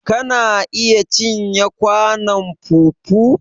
Kana iya cinye kwanon fufu?